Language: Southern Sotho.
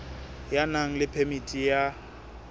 ya nang le phemiti ya